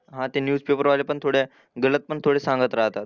हां ते न्यूजपेपरवाले पण थोड्या गलत पण थोडे सांगत राहतात.